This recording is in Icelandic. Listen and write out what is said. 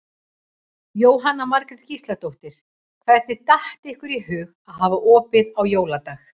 Jóhanna Margrét Gísladóttir: Hvernig datt ykkur í hug að hafa opið á jóladag?